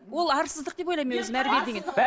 ол арсыздық деп ойлаймын мен өзім әрі беріден кейін